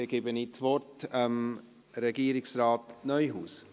Dann übergebe ich das Wort Regierungsrat Neuhaus.